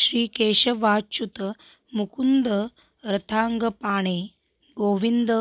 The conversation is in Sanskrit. श्री केशवाच्युत मुकुन्द रथाङ्गपाणे गोविन्द